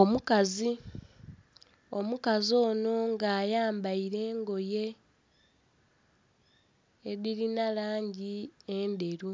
Omukazi, omukazi onho nga ayambaire engoye edhirina langi endheru